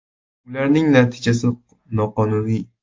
Ularning natijasi noqonuniy.